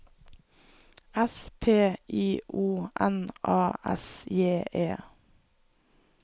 S P I O N A S J E